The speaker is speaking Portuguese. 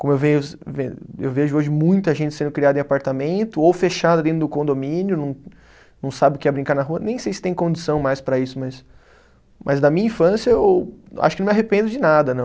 Como eu eu vejo hoje muita gente sendo criada em apartamento ou fechada dentro do condomínio, não, não sabe o que é brincar na rua, nem sei se tem condição mais para isso mas, mas da minha infância eu acho que não me arrependo de nada, não.